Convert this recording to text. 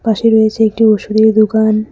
পাশে রয়েছে একটি ওষুধের দোকান।